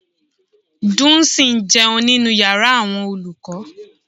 Dunsin ń jẹun nínú yàrá àwọn olùkọ́.